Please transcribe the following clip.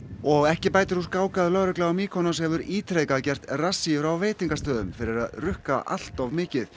og ekki bætir úr skák að lögregla á Mykonos hefur ítrekað gert rassíur á veitingastöðum fyrir að rukka allt of mikið